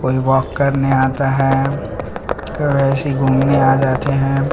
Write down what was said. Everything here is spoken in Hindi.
कोई वाक करने आता हैं कोई ऐसे ही घूमने आ जाते हैं।